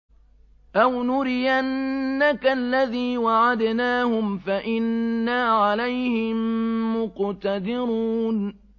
أَوْ نُرِيَنَّكَ الَّذِي وَعَدْنَاهُمْ فَإِنَّا عَلَيْهِم مُّقْتَدِرُونَ